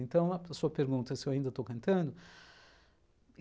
Então, a pessoa pergunta se eu ainda estou cantando.